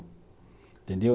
Entendeu?